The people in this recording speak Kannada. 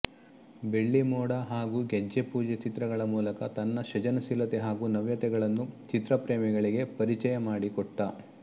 ಬೆಳ್ಳಿಮೋಡ ಹಾಗೂ ಗೆಜ್ಜೆ ಪೂಜೆ ಚಿತ್ರಗಳ ಮೂಲಕ ತನ್ನ ಸೃಜನಶೀಲತೆ ಹಾಗೂ ನವ್ಯತೆಗಳನ್ನು ಚಿತ್ರಪ್ರೇಮಿಗಳಿಗೆ ಪರಿಚಯಮಾಡಿಕೊಟ್ಟ